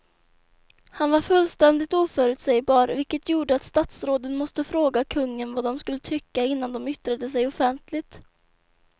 Han var fullständigt oförutsägbar vilket gjorde att statsråden måste fråga kungen vad de skulle tycka innan de yttrade sig offentligt.